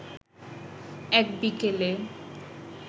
এক বিকেলে